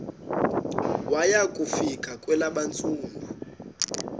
waya kufika kwelabesuthu